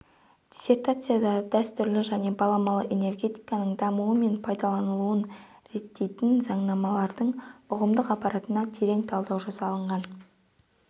диссертацияда дәстүрлі және баламалы энергетиканың дамуы мен пайдаланылуын реттейтін заңнамалардың ұғымдық аппаратына терең талдау жасалынған